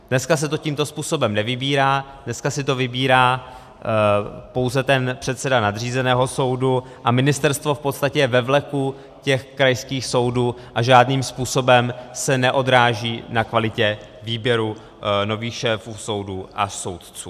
Dneska se to tímto způsobem nevybírá, dneska si to vybírá pouze ten předseda nadřízeného soudu a ministerstvo v podstatě je ve vleku těch krajských soudů a žádným způsobem se neodráží na kvalitě výběru nových šéfů soudů a soudců.